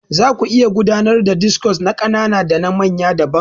Zaku iya gudanar da discos na ƙanana dana manya daban.